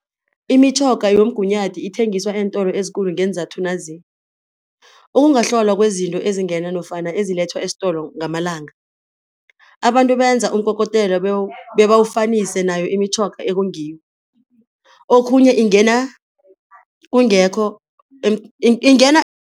Imitjhoga yomgunyathi ithengiswa eentolo ezikulu ngeenzathu nazi, ukungahlolwa kwezinto ezingena nofana ezilethwa eistolo ngamalanga, abantu benza umkokotelo bebawufanise nayo imitjhoga ekungiyo, okhunye ingena kungekho ingena